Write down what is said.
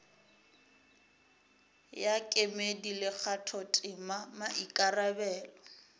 ya kemedi le kgathotema maikarabelo